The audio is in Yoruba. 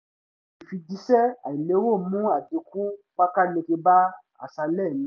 ìfijíṣẹ́ àìlérò mú àdínkù pákáleke bá àṣálẹ́ mi